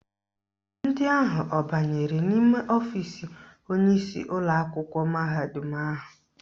Ndị ahụ abanyere n'ime ọfisi onyeisi ụlọakwụkwọ mahadum ahụ?